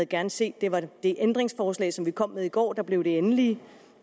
gerne set det var det ændringslovforslag som vi kom med i går der blev det endelige